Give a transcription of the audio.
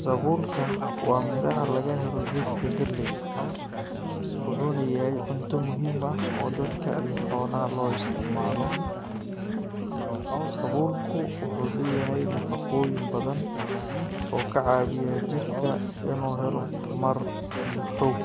Sabuulka waa miraha laga helo geedka galey, wuxuuna yahay cunto muhiim ah oo dadka iyo xoolaha loo isticmaalo. Sabuulku wuxuu leeyahay nafaqooyin badan oo ka caawiya jirka inuu helo tamar iyo xoog.